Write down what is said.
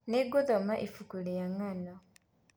Nĩngũthoma ibuku rĩa ng'ando.